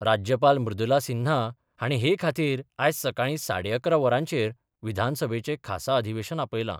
राज्यपाल मृदुला सिन्हा हाणी हे खातीर आयज सकाळी साडे अकरा वरांचेर विधानसभेचे खासा अधिवेशन आपयला.